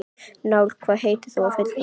Njáll, hvað heitir þú fullu nafni?